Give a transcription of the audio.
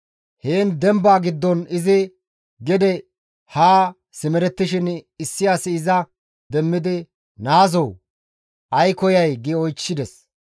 Heen demba giddon izi gede haa simerettishin issi asi iza demmidi, «Naazoo! Ay koyay?» gi oychchides.